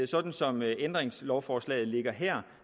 sådan som ændringslovforslaget ligger her